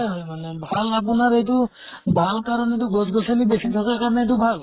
হয় মানে। ভাল আপোনাত এইটো ভাল কাৰণে টো গছ গছ্নি বেছি থকা কাৰণেটো ভাল।